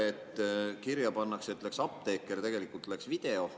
Näiteks kirja pannakse, et läks apteeker, tegelikult läks video.